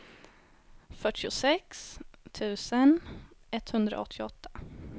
fyrtiosex tusen etthundraåttioåtta